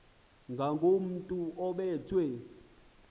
ngakomntu obe thwe